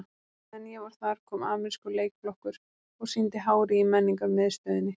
Meðan ég var þar kom amerískur leikflokkur og sýndi Hárið í Menningarmiðstöðinni.